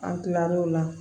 An kila l'o la